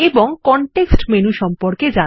এবং context menu সম্পর্কে জানব